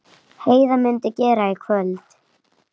Heiða mundi gera í kvöld.